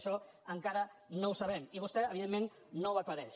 això encara no ho sabem i vostè evidentment no ho aclareix